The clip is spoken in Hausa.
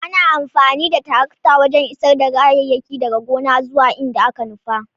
Ana amfani da tarakta wajen isar da kayayyaki daga gona zuwa inda aka nufa.